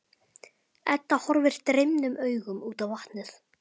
Edda horfir dreymnum augum út á vatnið.